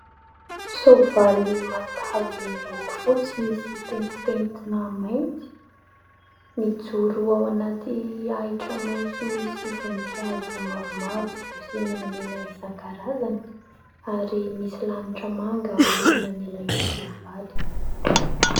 Soavaly matavy miloko fotsy misy pentimpentina mainty, mijoro ao anaty ahitra maitso misy voninkazo mavomavo sy menamena isankarazany ; ary misy lanitra manga ao aorianan'ilay soavaly.